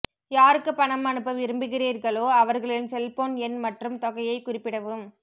யாருக்கு பணம் அனுப்ப விரும்புகிறீர்களோ அவர்களின் செல்போன் எண் மற்றும் தொகையை குறிப்பிடவும்